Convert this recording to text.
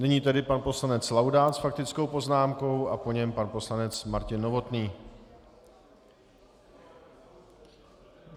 Nyní tedy pan poslanec Laudát s faktickou poznámkou a po něm pan poslanec Martin Novotný.